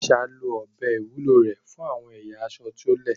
Aisha lo ọ̀bẹ ìwúlò rẹ̀ fún àwọn ẹ̀yà aṣọ tí ó le.